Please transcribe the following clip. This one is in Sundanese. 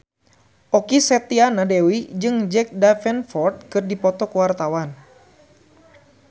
Okky Setiana Dewi jeung Jack Davenport keur dipoto ku wartawan